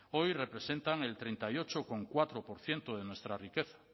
hoy representan el treinta y ocho coma cuatro por ciento de nuestra riqueza